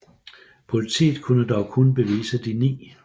Politiet kunne dog kun bevise de ni